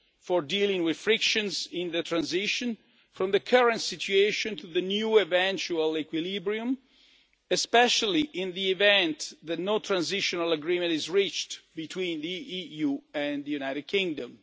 for dealing with frictions in the transition from the current situation to the new eventual equilibrium, especially in the event that no transitional agreement is reached between the EU and the United Kingdom.